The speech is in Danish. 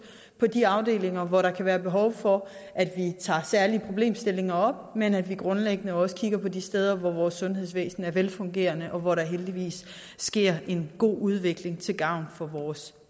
på de afdelinger hvor der kan være behov for at vi tager særlige problemstillinger op men at vi grundlæggende også kigger på de steder hvor vores sundhedsvæsen er velfungerende og hvor der heldigvis sker en god udvikling til gavn for vores